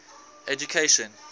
education